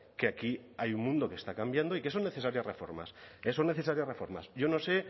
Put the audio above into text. que aquí hay mundo que está cambiando y que son necesarias reformas que son necesarias reformas yo no sé